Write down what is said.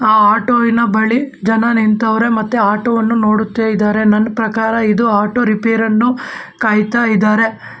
ಆ ಆಟೋ ವಿನ ಬಳಿ ಜನ ನಿಂತವ್ರೆ ಮತ್ತೆ ಆಟೋ ವನ್ನು ನೋಡುತ್ತ ಇದ್ದಾರೆ ನನ್ ಪ್ರಕಾರ ಇದು ಆಟೋ ರಿಪೇರ್ ಅನ್ನು ಕಾಯುತ್ತ ಇದ್ದಾರೆ.